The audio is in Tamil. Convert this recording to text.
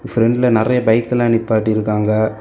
பிரண்ட்ல நிறைய பைக் எல்லா நிப்பாட்டி இருக்காங்க.